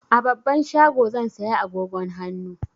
A babban shago zan saya agogon hannu.